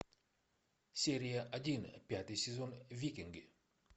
серия один пятый сезон викинги